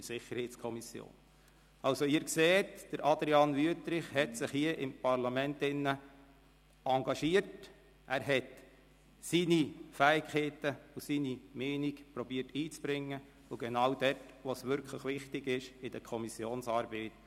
der SiK. Also, Sie sehen, Adrian Wüthrich hat sich hier im Parlament engagiert, er hat seine Fähigkeiten und seine Meinung einzubringen versucht – genau dort, wo es wichtig ist, in der Kommissionsarbeit.